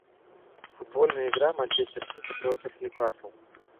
футбольная игра манчестер сити против ньюкасл